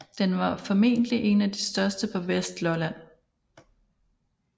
Den var formentligt en af de største på Vestlolland